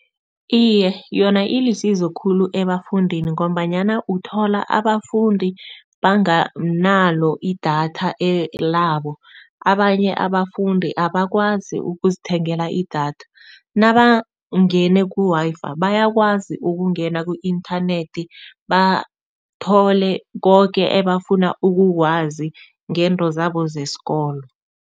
Iye, yona ilisizo khulu ebafundini, ngombanyana uthola abafundi banganalo idatha labo. Abanye abafundi abakwazi ukuzithengela idatha, nabangene ku-Wi-Fi bayakwazi ukungena ku-inthanethi bathole koke ebafuna ukukwazi ngezinto zabo zesikolo.